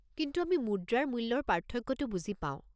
কিন্তু আমি মুদ্ৰাৰ মূল্যৰ পাৰ্থক্যটো বুজি পাওঁ।